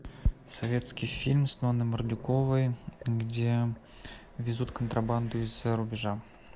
советский фильм с ноной мордюковой где везут контрабанду из зарубежа